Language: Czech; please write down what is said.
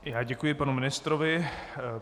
Já děkuji panu ministrovi.